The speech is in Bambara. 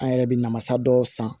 An yɛrɛ bɛ na mansa dɔw san